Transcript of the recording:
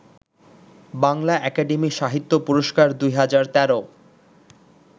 Bangla academy সাহিত্য পুরস্কার ২০১৩